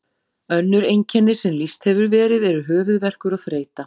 Önnur einkenni sem lýst hefur verið eru höfuðverkur og þreyta.